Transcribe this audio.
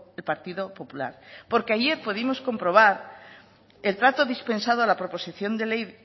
el partido popular porque ayer pudimos comprobar el trato dispensado a la proposición de ley